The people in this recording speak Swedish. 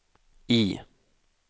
I